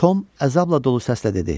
Tom əzabla dolu səslə dedi: